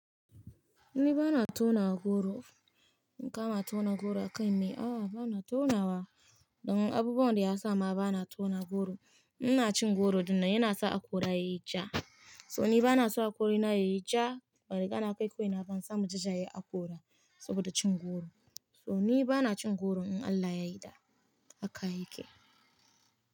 Ni bana tauna goro. In kama tauna goro a kai mai, a'a bana taunawa. Don abubuwan da ya sa ma bana tauna goro, ina cin goro din nan yana sa akora yayi ja. So ni bana so akori na yayi ja, bari kana kai koin na ban samu jajaya akora saboda cin goro. So ni bana cin goro in Allah yayi da haka yayi ke.